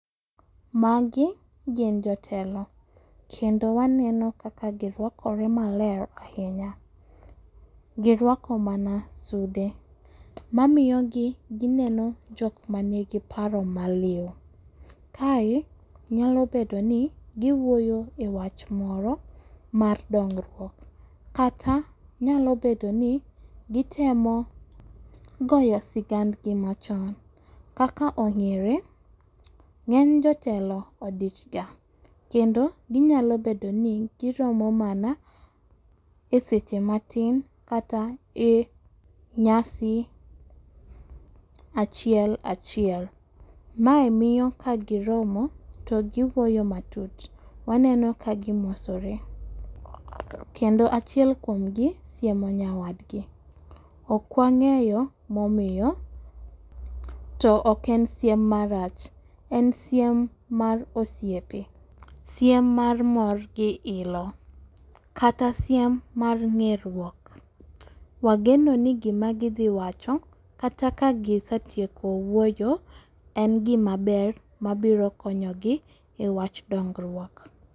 Magi gin jotelo kendo waneno kaka girwakore maler ahinya girwako mana sude mamiyogi gineno jok manigi paro maliw. Kae nyalo bedoni giwuoyo ewach moro mar dongruok kata nyalo bedoni gitemo goyo sigand gi machon kaka ong'ere ng'eny jotelo odichga kendo ginyalo bedoni giromo mana eseche matin kata ee nyasi achiel achiel. Mae miyo kagiromo to giwuoyo matut. Waneno ka gimosore kendo achiel kuomgi siemo nyawadegi. Ok wang'eyo momiyo to ok en siem marach en siem mar osipe siem mar mor gi ilo. Kata siem mar ng'e ruok. Wagenoni gima gidhi wacho kata ka gisetieko wuoyo en gima maber mabiro konyogi ewach dongruok.